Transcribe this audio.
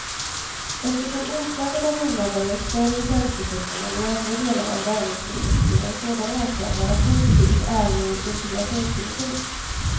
Eftersom inslaget av invandrare är större i tjänstesektorn än i andra delar av näringslivet skulle en sådan åtgärd vara positiv även ur integrationssynpunkt.